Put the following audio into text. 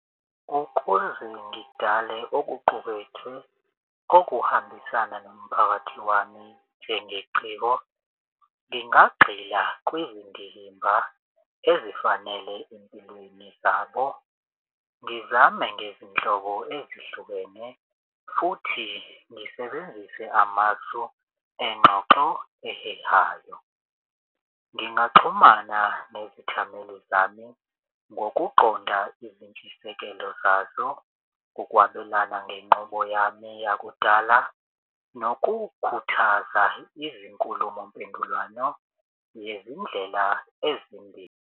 Ukuze ngidale okuqukethwe okuhambisana nomphakathi wami, njengeciko ngingagxila kwizindimba ezifanele empilweni zabo. Ngizame ngezinhlobo ezihlukene futhi ngisebenzise amasu engxoxo ehehayo. Ngingaxhumana nezithameli zami ngokuqonda izintshisekelo zazo, ukwabelana ngenqubo yami yakudala, nokukhuthaza izinkulumo mpendulwano yezindlela ezimbi.